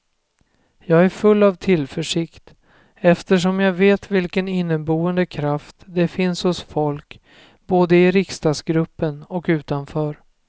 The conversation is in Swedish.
Jag är full av tillförsikt eftersom jag vet vilken inneboende kraft det finns hos folk både i riksdagsgruppen och utanför.